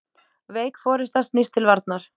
Veik forysta snýst til varnar.